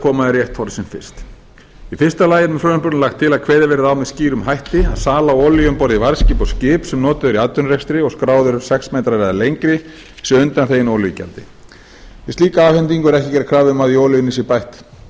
koma í rétt horf sem fyrst í fyrsta lagi er með frumvarpinu lagt til að kveðið verði á með skýrum hætti að sala olíu um borð í varðskip og skip sem notuð eru í atvinnurekstri og skráð eru sex metrar eða lengri sé undanþegin olíugjald við slíka afhendingu er ekki gerð krafa um